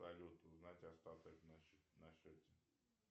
салют узнать остаток на счете